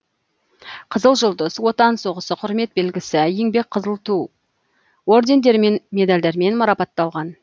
қызыл жұлдыз отан соғысы құрмет белгісі еңбек қызыл ту ордендерімен медальдармен марапатталған